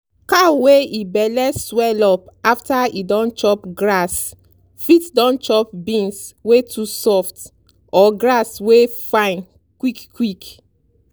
cow wey e belle swell up after e don chop grass fit don chop beans wey too soft or grass wey fine quick quick.